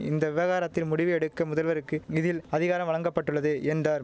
இந்த விவகாரத்தில் முடிவு எடுக்க முதல்வருக்கு இதில் அதிகாரம் வழங்க பட்டுள்ளது என்றார்